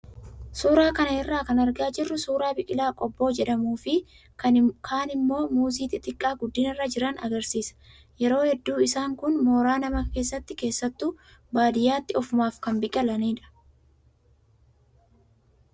Suuraa kana irraa kan argaa jirru suuraa biqilaa qobboo jedhamuu fi kaan immoo muuzii xixiqqaa guddinarra jiran agarsiisa. Yeroo hedduu isaan kun mooraa namaa keessatti keessattuu baadiyyaatti ofumaaf kan biqilanidha.